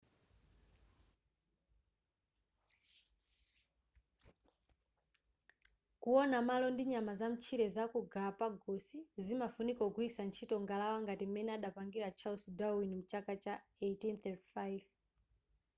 kuwona malo ndi nyama zamtchire zaku galapagos zimafunika kugwilitsa ntchito ngalawa ngati m'mene adapangira charles darwin mu chaka cha 1835